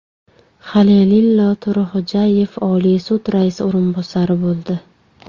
Halilillo To‘raxo‘jayev Oliy sud raisi o‘rinbosari bo‘ldi.